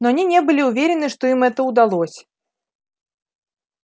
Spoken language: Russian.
но они не были уверены что им это удалось